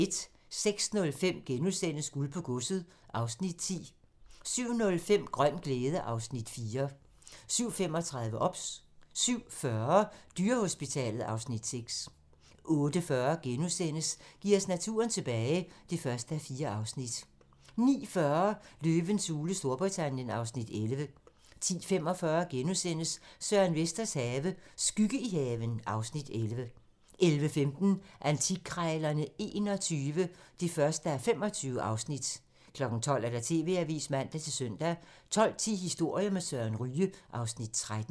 06:05: Guld på godset (Afs. 10)* 07:05: Grøn glæde (Afs. 4) 07:35: OBS 07:40: Dyrehospitalet (Afs. 6) 08:40: Giv os naturen tilbage (1:4)* 09:40: Løvens hule Storbritannien (Afs. 11) 10:45: Søren Vesters have - skygge i haven (Afs. 11)* 11:15: Antikkrejlerne XXI (1:25) 12:00: TV-avisen (man-søn) 12:10: Historier med Søren Ryge (Afs. 13)